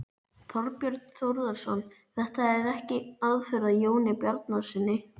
Þorbjörn Þórðarson: Þetta er ekki aðför að Jóni Bjarnasyni?